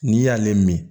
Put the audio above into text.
N'i y'ale min